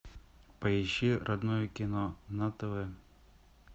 поищи родное кино на тв